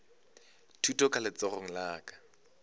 thuto ka letsogong la ka